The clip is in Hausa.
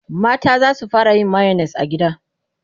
mata zasu fara yin mayonnaise a gida